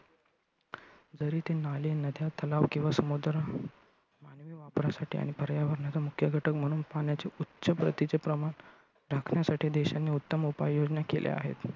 जरी ते नाले, नद्या, तलाव किंवा समुद्र मानवी वापरासाठी आणि पर्यावरणाचा मुख्य घटक म्हणून पाण्याचे उच्च प्रतीचे प्रमाण राखण्यासाठी देशांनी उत्तम उपाय योजना केल्या आहेत.